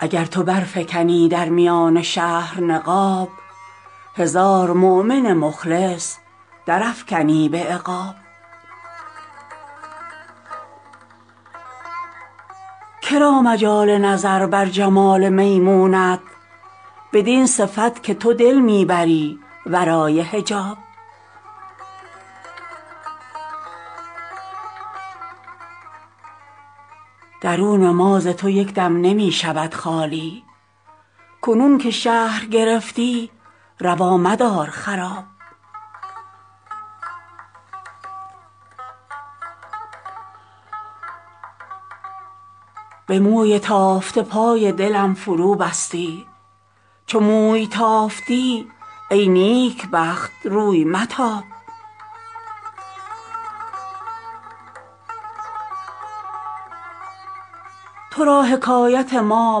اگر تو برفکنی در میان شهر نقاب هزار مؤمن مخلص درافکنی به عقاب که را مجال نظر بر جمال میمونت بدین صفت که تو دل می بری ورای حجاب درون ما ز تو یک دم نمی شود خالی کنون که شهر گرفتی روا مدار خراب به موی تافته پای دلم فروبستی چو موی تافتی ای نیکبخت روی متاب تو را حکایت ما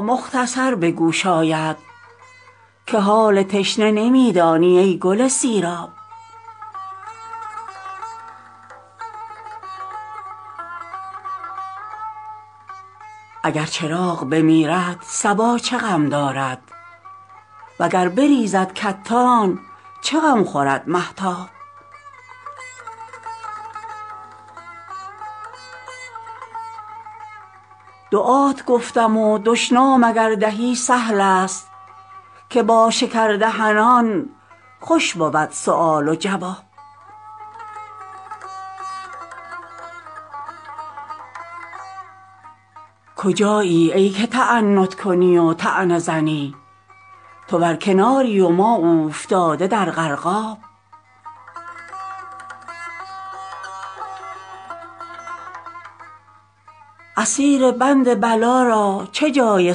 مختصر به گوش آید که حال تشنه نمی دانی ای گل سیراب اگر چراغ بمیرد صبا چه غم دارد و گر بریزد کتان چه غم خورد مهتاب دعات گفتم و دشنام اگر دهی سهل است که با شکردهنان خوش بود سؤال و جواب کجایی ای که تعنت کنی و طعنه زنی تو بر کناری و ما اوفتاده در غرقاب اسیر بند بلا را چه جای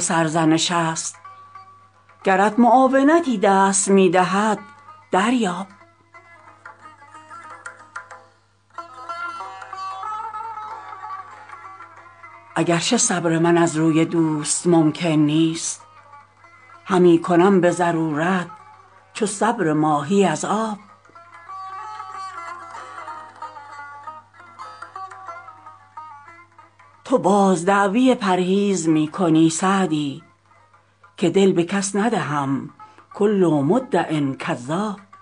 سرزنش است گرت معاونتی دست می دهد دریاب اگر چه صبر من از روی دوست ممکن نیست همی کنم به ضرورت چو صبر ماهی از آب تو باز دعوی پرهیز می کنی سعدی که دل به کس ندهم کل مدع کذاب